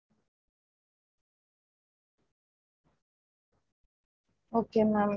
veg biryani fix பண்ணிகோங்க தக்காளி சாதம் அதுலாம் வேண்டாம்.